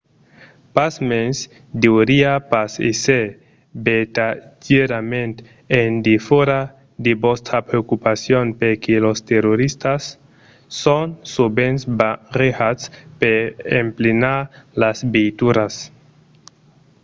pasmens deuriá pas èsser vertadièrament en defòra de vòstra preocupacion perque los toristas son sovent barrejats per emplenar las veituras